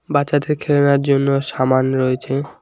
বাচ্চাদের খেলরার জন্য সামান রয়েছে।